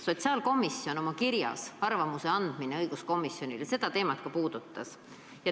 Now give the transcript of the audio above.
Sotsiaalkomisjon puudutas seda teemat ka oma kirjas "Arvamuse andmine õiguskomisjonile".